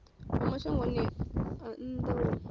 wa mashangoni a nnḓa wo